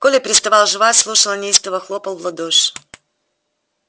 коля переставал жевать слушал неистово хлопал в ладоши